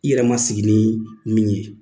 I yɛrɛ ma sigi ni min ye